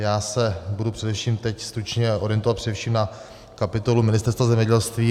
Já se budu především teď stručně orientovat především na kapitolu Ministerstva zemědělství.